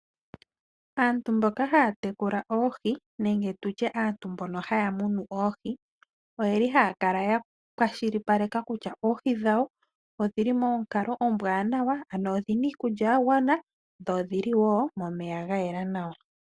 Aantu mboka haya tekula oohi nenge tutye aantu mbono haya munu oohi, oyeli haya kala ya kwashilipaleka kutya oohi dhawo odhili monkalo ombwaanawa, ano odhina iikulya ya gwana, dho odhili wo momeya ga yela nawa.